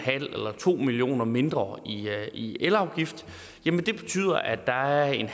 eller to million kroner mindre i elafgift betyder at der er en